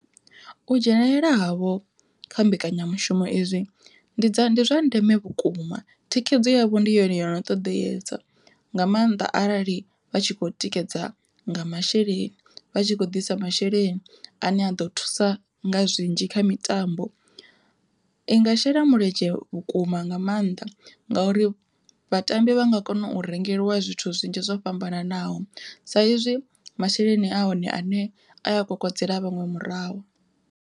U dzhenelela havho kha mbekanyamushumo izwi ndi dza ndi zwa ndeme vhukuma, thikhedzo yavho ndi yone yo no ṱoḓeyesa nga maanda arali vha tshi kho tikedza nga masheleni, vha tshi khou ḓisa masheleni ane a ḓo thusa nga zwinzhi kha mitambo. Inga shela mulenzhe vhukuma nga maanḓa ngauri vhatambi vha nga kona u rengeliwa zwithu zwinzhi zwo fhambananaho sa izwi masheleni a hone ane aya kokodzela vhaṅwe murahu.